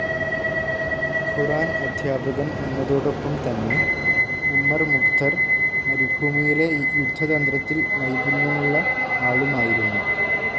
ഖുറാൻ അധ്യാപകൻ എന്നതോടൊപ്പം തന്നെ ഉമ്മർ മുഖ്തർ മരുഭൂമിയിലെ യുദ്ധതന്ത്രത്തിൽ നൈപുണ്യമുള്ള ആളുമായിരുന്നു.